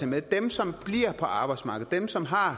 med dem som bliver på arbejdsmarkedet dem som har